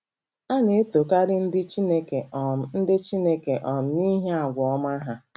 A na-etokarị ndị Chineke um ndị Chineke um n’ihi àgwà ọma ha.